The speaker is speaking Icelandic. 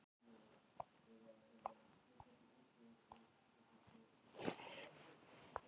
Kjartan Guðjónsson, myndlistarmaður svarar